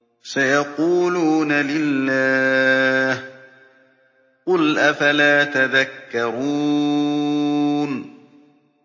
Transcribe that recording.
سَيَقُولُونَ لِلَّهِ ۚ قُلْ أَفَلَا تَذَكَّرُونَ